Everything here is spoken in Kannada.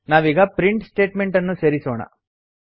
ನಾವೀಗ ಪ್ರಿಂಟ್ ಸ್ಟೇಟ್ಮೆಂಟ್ ಅನ್ನು ಸೇರಿಸೋಣ